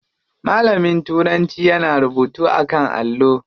Malamin turanci yana rubutu a kan allo.